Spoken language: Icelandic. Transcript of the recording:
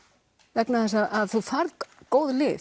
vegna þess að þú færð góð lyf